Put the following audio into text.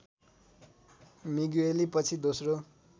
Migueli पछि दोस्रो